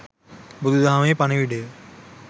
බුදුදහමේ පණිවුඩය